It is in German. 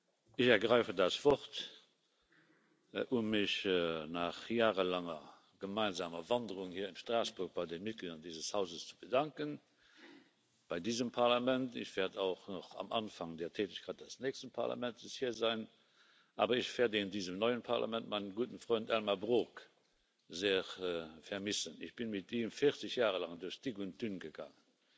Ich ergreife das Wort, um mich nach jahrelanger gemeinsamer Wanderung hier in Straßburg bei den Mitgliedern dieses Hauses zu bedanken, bei diesem Parlament. Ich werde auch noch am Anfang der Tätigkeit des nächsten Parlaments hier sein, aber ich werde in diesem neuen Parlament meinen guten Freund Elmar Brok sehr vermissen. Ich bin mit ihm 40 Jahre lang durch dick und dünn gegangen,